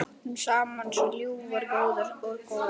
Við áttum saman svo ljúfar og góðar stundir.